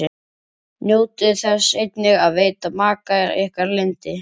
Njótið þess einnig að veita maka ykkar yndi.